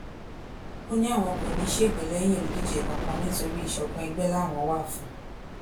ó ní àwọn kò ní í ṣègbè lẹyìn olùdíje kankan nítorí ìṣọkan ègbè làwọn wà fún